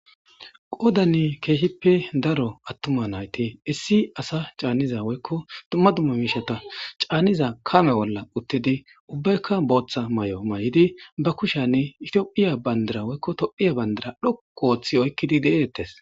qoodane keehippe daro attuma nayti issi asa caanniza woykko dumma dumma miishata caanniza kame bolla uttidi ubbaykka booththa may7o may7idi ba kushanne itiophiya bandira woykko tophiya bandira dhok wooththi oykkidi de7eettes